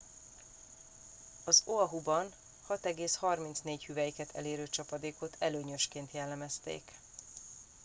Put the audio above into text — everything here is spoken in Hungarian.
"az oahuban 6,34 hüvelyket elérő csapadékot "előnyösként" jellemezték.